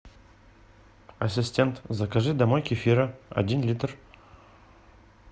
ассистент закажи домой кефира один литр